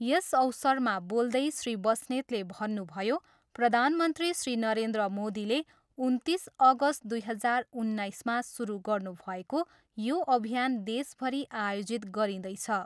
यस अवसरमा बोल्दै श्री बस्नेतले भन्नुभयो, प्रधानमन्त्री श्री नरेन्द्र मोदीले उन्तिस अगस्त दुई हजार उन्नाइसमा सुरु गर्नुभएको यो अभियान देशभरि आयोजित गरिँदैछ।